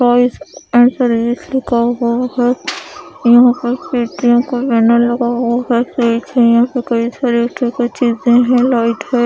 यहा पर कई सारी चीजे है लाइट है ।